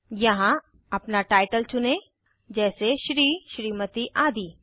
यहाँ अपना टाइटल चुनें जैसे श्री स्मत आदि